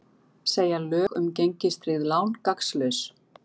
Segja lög um gengistryggð lán gagnslaus